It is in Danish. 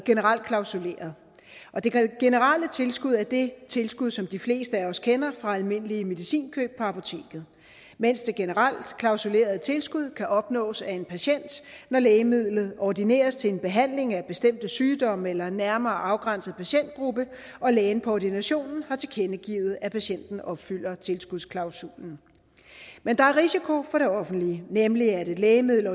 generelt klausuleret det generelle tilskud er det tilskud som de fleste af os kender fra almindelige medicinkøb på apoteket mens det generelt klausulerede tilskud kan opnås af en patient når lægemidlet ordineres til en behandling af bestemte sygdomme eller en nærmere afgrænset patientgruppe og lægen på ordinationen har tilkendegivet at patienten opfylder tilskudsklausulen men risikoen for det offentlige nemlig et lægemiddel